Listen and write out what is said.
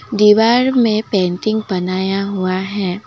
दीवार में पेंटिंग बनाया हुआ है।